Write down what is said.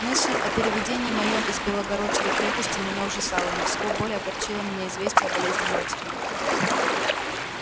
мысль о переведении моем из белогорской крепости меня ужасала но всего более огорчило меня известие о болезни матери